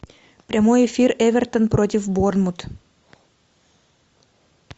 прямой эфир эвертон против борнмут